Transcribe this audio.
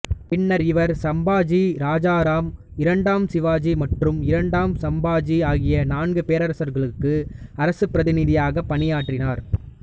பின்னர் இவர் சம்பாஜி இராஜாராம் இரண்டாம் சிவாஜி மற்றும் இரண்டாம் சம்பாஜி ஆகிய நான்கு பேரரசர்களுக்கு அரசப் பிரதிநிதியாகப் பணியாற்றினார்